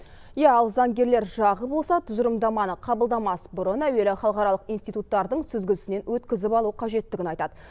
иә ал заңгерлер жағы болса тұжырымдаманы қабылдамас бұрын әуелі халықаралық институттардың сүзгісінен өткізіп алу қажеттігін айтады